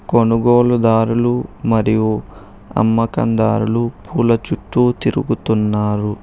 కొనుగోలుదారులు మరియు అమ్మ కందారులు పూల చుట్టూ తిరుగుతున్నారు.